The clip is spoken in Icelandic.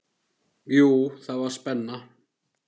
Jú, það var spenna.